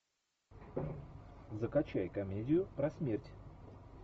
закачай комедию про смерть